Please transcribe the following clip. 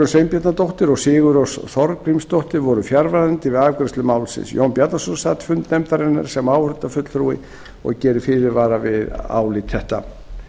sveinbjarnardóttir og sigurrós þorgrímsdóttir voru fjarverandi við afgreiðslu málsins jón bjarnason sat fundi nefndarinnar sem áheyrnarfulltrúi og gerir fyrirvara við álit þetta